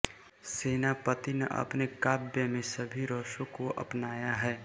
सेनापति ने अपने काव्य में सभी रसों को अपनाया है